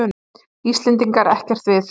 Íslendinga ekkert við.